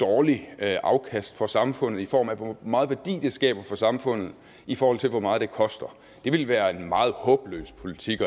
dårligt afkast for samfundet i form af hvor meget værdi det skaber for samfundet i forhold til hvor meget det koster det ville være en meget håbløs politik